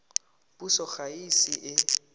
puso ga e ise e